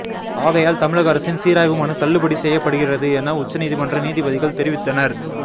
ஆகையால் தமிழக அரசின் சீராய்வு மனு தள்ளுபடி செய்யப்படுகிறது என உச்சநீதிமன்ற நீதிபதிகள் தெரிவித்தனர்